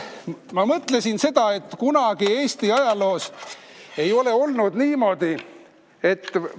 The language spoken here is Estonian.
Ma mõtlesin seda, et kunagi Eesti ajaloos ei ole olnud niimoodi, et ...